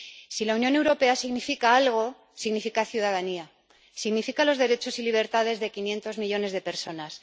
Si la Unión Europea significa algo, significa ciudadanía. Significa los derechos y libertades de quinientos millones de personas.